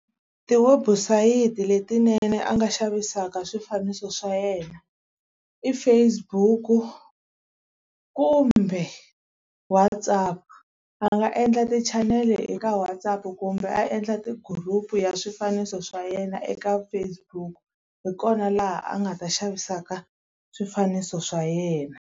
Tiwebusayiti letinene a nga xavisaka swifaniso swa yena i Facebook-u kumbe WhatsApp. A nga endla tichanele eka WhatsApp kumbe a endla ti-group ya swifaniso swa yena eka Facebook. Hi kona laha a nga ta xavisaka swifaniso swa yena.